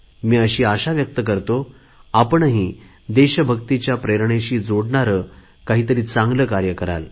मी अशी आशा व्यक्त करतो आपणही देशभक्तीच्या प्रेरणेशी जोडणारे काहीतरी चांगले कार्य कराल